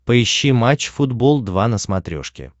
поищи матч футбол два на смотрешке